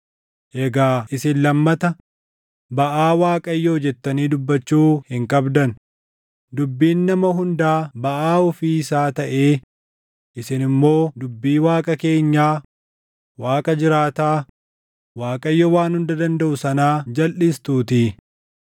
Egaa isin lammata, ‘Baʼaa Waaqayyoo,’ jettanii dubbachuu hin qabdan; dubbiin nama hundaa baʼaa ofii isaa taʼee isin immoo dubbii Waaqa keenyaa, Waaqa jiraataa, Waaqayyo Waan Hunda Dandaʼu sanaa jalʼistuutii.